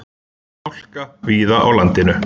Hálka víða á landinu